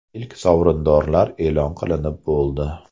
Ilk sovrindorlar e’lon qilinib bo‘ldi.